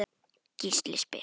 Gísli spyr